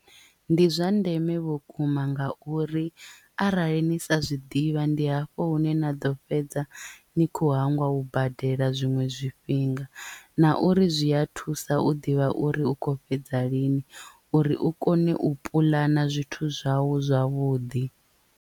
Ndi zwa ndeme vhukuma nga uri arali ni sa zwiḓivha ndi hafho hune na ḓo fhedza ni kho hangwa u badela zwiṅwe zwifhinga na uri zwi a thusa u ḓivha uri u khou fhedza lini uri u kone u puḽana zwithu zwau zwavhuḓi.